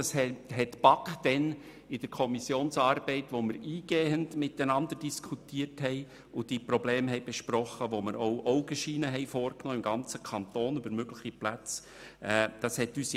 Die BaK hat dies in der Kommissionsarbeit diskutiert, die Probleme eingehend besprochen und im ganzen Kanton mögliche Plätze in Augenschein genommen.